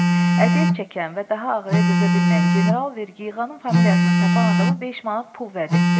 Əziyyət çəkən və daha ağrıya dözə bilməyən general vergi yığanın familiyasını tapan adama 5 manat pul vəd etdi.